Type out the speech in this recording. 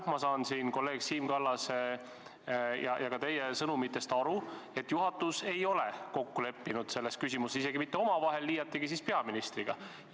Ma saan kolleeg Siim Kallase ja ka teie sõnumitest aru, et juhatus ei ole selles küsimuses omavahel kokku leppinud, liiatigi veel peaministriga.